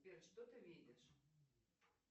сбер что ты видишь